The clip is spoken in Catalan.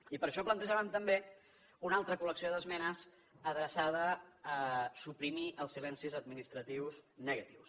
i per això plantejàvem també una altra col·lecció d’esmenes adreçada a suprimir els silencis administratius negatius